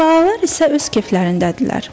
Qurbağalar isə öz keflərindədirlər.